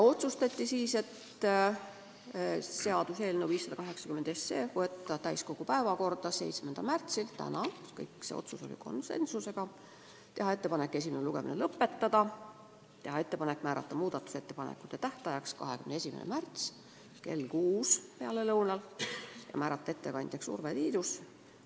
Otsustati teha ettepanek võtta seaduseelnõu 580 täiskogu päevakorda 7. märtsiks ehk tänaseks, teha ettepanek esimene lugemine lõpetada, määrata muudatusettepanekute tähtajaks 21. märts kell 6 pealelõunal ja määrata ettekandjaks Urve Tiidus.